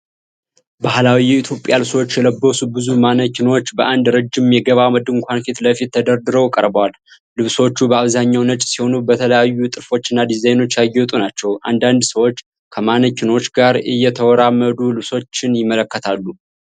ባህላዊ የኢትዮጵያ ልብሶችን የለበሱ ብዙ ማነኪኖች በአንድ ረጅም የገበያ ድንኳን ፊት ለፊት ተደርድረው ቀርበዋል። ልብሶቹ በአብዛኛው ነጭ ሲሆኑ በተለያዩ ጥልፎችና ዲዛይኖች ያጌጡ ናቸው። አንዳንድ ሰዎች ከማነኪኖቹ ጋር እየተራመዱ ልብሶቹን ይመለከታሉ።